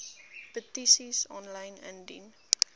petisies aanlyn indien